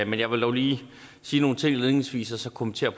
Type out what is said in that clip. men jeg vil dog lige sige nogle ting indledningsvis og så kommentere